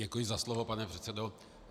Děkuji za slovo, pane předsedo.